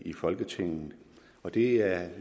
i folketinget og det er